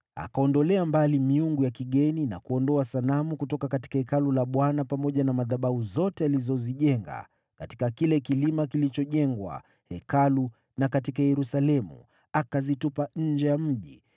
Akaondolea mbali miungu ya kigeni na kuondoa sanamu kutoka Hekalu la Bwana pamoja na madhabahu zote alizozijenga katika kile kilima kilichojengwa Hekalu na katika Yerusalemu, akazitupa nje ya mji.